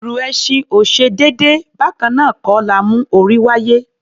Ìrù ẹṣin ò ṣe déédé; bákannáà kọ́ la mú orí wáyé.